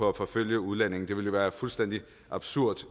at forfølge udlændinge det ville jo være fuldstændig absurd